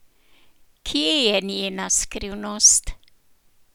Kje je njena skrivnost?